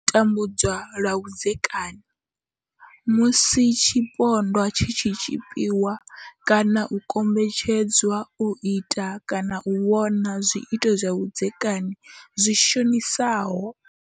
U tambudzwa lwa vhudzekani musi tshipondwa tshi tshi tshipiwa kana u kombetshed zwa u ita kana u vhona zwiito zwa vhudzekani zwi shonisaho.